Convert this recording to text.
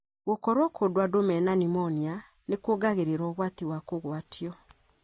Gũkorwo kũndũ andũ mena pneumonia nĩ kungagĩrĩra ũgwati wa kũgwatio.